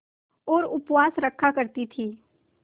और उपवास रखा करती थीं